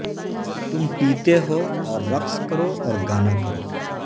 تم پیتے ہو اور رقص کرو اور گانا کرو